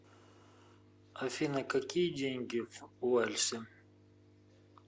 афина какие деньги в уэльсе